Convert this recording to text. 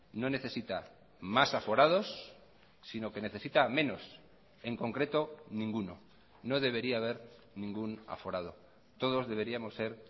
no necesita más aforados sino que necesita menos en concreto ninguno no debería haber ningún aforado todos deberíamos ser